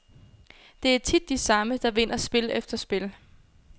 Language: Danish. Det er tit de samme, der vinder spil efter spil.